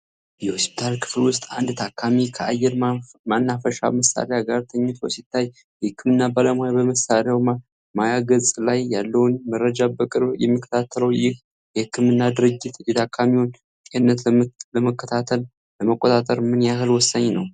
የሆስፒታል ክፍል ውስጥ አንድ ታካሚ ከአየር ማናፈሻ መሳሪያ ጋር ተኝቶ ሲታይ፣ የህክምና ባለሙያ በመሳሪያው ማያ ገጽ ላይ ያለውን መረጃ በቅርብ የሚከታተለው፣ ይህ የህክምና ድርጊት የታካሚውን ጤንነት ለመከታተልና ለመቆጣጠር ምን ያህል ወሳኝ ነው